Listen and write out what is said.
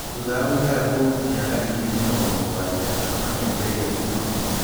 Thutha wa gũikara kũu mĩaka ngiri mĩrongo mũgwanja, andũ makĩambĩrĩria kuuma kuo.